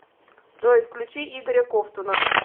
джой включи игоря ковтуна